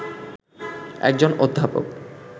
একজন অধ্যাপক